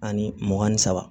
Ani mugan ni saba